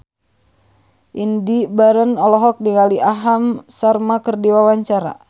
Indy Barens olohok ningali Aham Sharma keur diwawancara